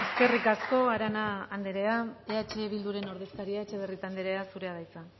eskerrik asko arana andrea eh bilduren ordezkaria etxebarrieta andrea zurea da hitza